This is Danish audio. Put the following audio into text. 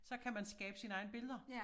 Så kan man skabe sine egne billeder